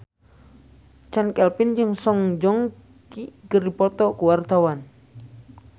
Chand Kelvin jeung Song Joong Ki keur dipoto ku wartawan